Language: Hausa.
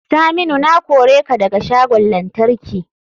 Saminu na kore ka daga shagon lantarki.